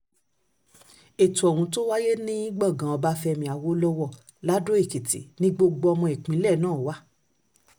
ètò ohun tó wáyé ní gbọ̀ngàn ọbáfẹ́mi awolowo lado-ekìtì ni gbogbo ọmọ ìpínlẹ̀ náà wà